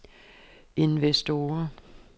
investorer